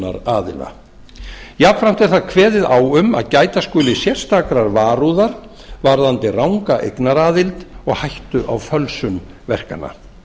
jafnframt er þar kveðið á um að gæta skuli sérstakrar varúðar varðandi ranga eignaraðild að og hættu á fölsun verkanna